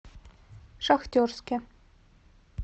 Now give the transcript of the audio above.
шахтерске